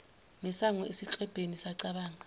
ngesango esiklebheni sacabanga